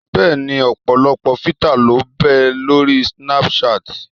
Bẹ́ẹ̀ni ọ̀pọ̀lọpọ̀ fítà ló ń bẹ lóri snápúṣaàtì